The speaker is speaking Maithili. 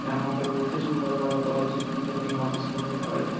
यहां पे बहुते सुंदर लागत ओ यहां पे सुंदर बाटे।